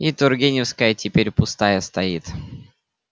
и тургеневская теперь пустая стоит